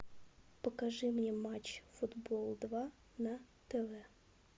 покажи мне матч футбол два на тв